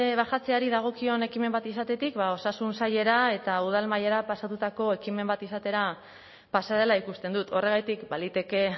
bajatzeari dagokion ekimen bat izatetik ba osasun sailera eta udal mailara pasatutako ekimen bat izatera pasa dela ikusten dut horregatik baliteke